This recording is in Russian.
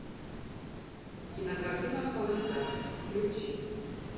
кинокартина холостяк включи